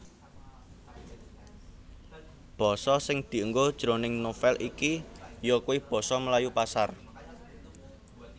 Basa sing dienggo jroning novèl iki yakuwi basa Melayu Pasar